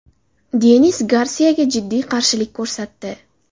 Denis Garsiyaga jiddiy qarshilik ko‘rsatdi.